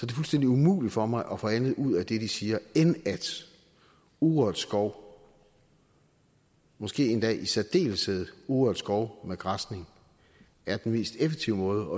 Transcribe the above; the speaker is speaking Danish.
det fuldstændig umuligt for mig at få andet ud af det de siger end at urørt skov måske endda i særdeleshed urørt skov med græsning er den mest effektive måde